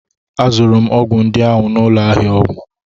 Azụrụ m ọgwụ ndị ahụ n'ụlọ ahịa ọgwụ